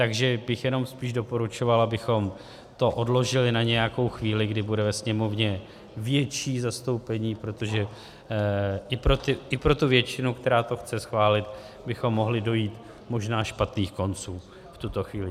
Takže bych jenom spíš doporučoval, abychom to odložili na nějakou chvíli, kdy bude ve Sněmovně větší zastoupení, protože i pro tu většinu, která to chce schválit, bychom mohli dojít možná špatných konců v tuto chvíli.